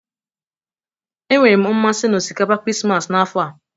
Enwere m mmasị na osikapa Krismas n'afọ a.